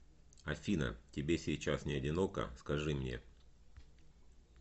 афина тебе сейчас не одиноко скажи мне